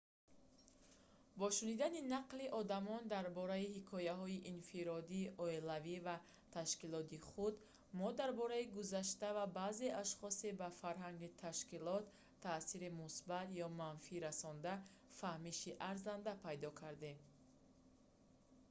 бо шунидани нақли одамон дар бораи ҳикояҳои инфиродӣ оилавӣ ва ташкилотии худ мо дар бораи гузашта ва баъзе ашхоси ба фарҳанги ташкилот таъсири мусбат ё манфӣ расонда фаҳмиши арзанда пайдо кардем